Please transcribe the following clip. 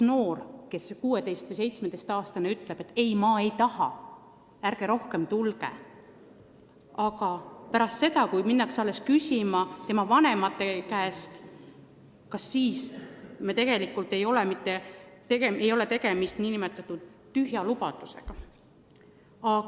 Kui 16- või 17-aastane noor ütleb, et ei, ma ei taha teie abi, ärge rohkem tulge, aga alles pärast seda, kui on mindud küsima tema vanemate käest, kas siis ei ole mitte tegemist nn tühja lubadusega?